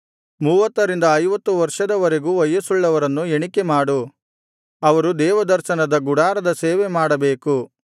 ಮೂವತ್ತರಿಂದ ಐವತ್ತು ವರ್ಷದವರೆಗೂ ವಯಸ್ಸುಳ್ಳವರನ್ನು ಎಣಿಕೆಮಾಡು ಅವರು ದೇವದರ್ಶನದ ಗುಡಾರದ ಸೇವೆ ಮಾಡಬೇಕು